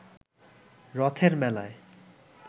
রথের মেলায়